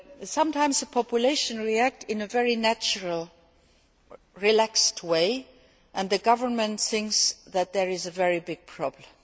Sometimes, the population react in a very natural, relaxed way, and the government thinks that there is a very big problem.